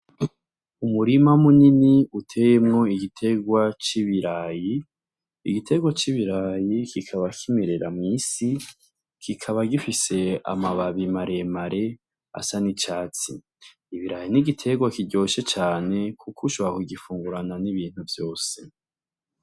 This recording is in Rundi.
Umurima munini uteyemwo igiterwa c'ibiraya, igiterwa c'ibiraya kikaba kimerera mw'isi, kikaba gifise amababi maremare asa n'icatsi. Ibiraya ni igiterwa kiryoshe cane kuko ushobora kugifungurana n'ibintu vyose.